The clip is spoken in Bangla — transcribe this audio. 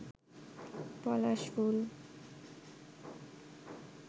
পলাশ ফুল